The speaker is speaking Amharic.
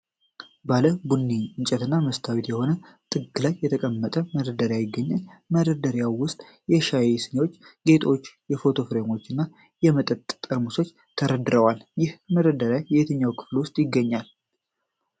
ባለ ቡኒ እንጨት እና መስታወት የሆነ ጥግ ላይ የተቀመጠ መደርደሪያ ይገኛል። በመደርደሪያው ውስጥ የሻይ ስኒዎች፣ ጌጣጌጦች፣ የፎቶ ፍሬም እና የ መጠጥ ጠርሙሶች ተደርድረዋል። ይህ መደርደሪያ በየትኛው ክፍል ውስጥ ይገኛል?